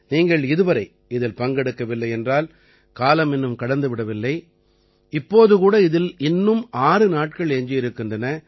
நீங்கள் இதுவரை இதில் பங்கெடுக்கவில்லை என்றால் காலம் இன்னும் கடந்து விடவில்லை இப்போது கூட இதிலே இன்னும் 6 நாட்கள் எஞ்சி இருக்கின்றன